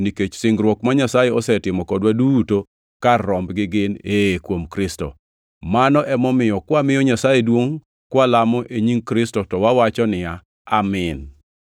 nikech singruok ma Nyasaye osetimo kodwa duto kar rombgi gin, “Ee kuom Kristo.” Mano emomiyo kwamiyo Nyasaye duongʼ kwalamo e nying Kristo to wawacho niya, “Amin.”